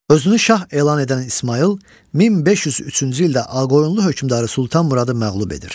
Özünü şah elan edən İsmayıl 1503-cü ildə Ağqoyunlu hökmdarı Sultan Muradı məğlub edir.